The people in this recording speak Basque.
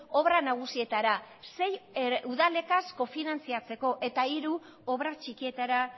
obra nagusietara sei udalekin kofinantziatzeko eta hiru obra txikietara